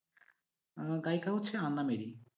আমার গায়িকা হচ্ছে আন্না মেরি।